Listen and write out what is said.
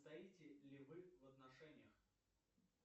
состоите ли вы в отношениях